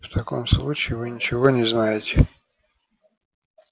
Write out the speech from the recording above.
в таком случае вы ничего не знаете